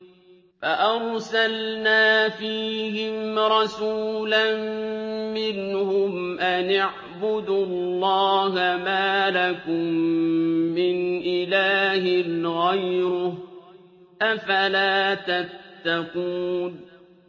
فَأَرْسَلْنَا فِيهِمْ رَسُولًا مِّنْهُمْ أَنِ اعْبُدُوا اللَّهَ مَا لَكُم مِّنْ إِلَٰهٍ غَيْرُهُ ۖ أَفَلَا تَتَّقُونَ